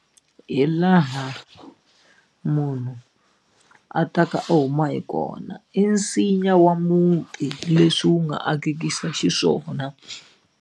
Hi laha munhu a ta ka a huma hi kona i nsinya wa muti leswi wu nga akekisa xiswona.